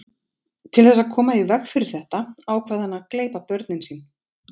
Til þess að koma í veg fyrir þetta ákvað hann að gleypa börnin sín.